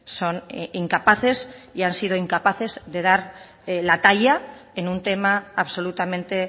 son incapaces y han sido incapaces de dar la talla en un tema absolutamente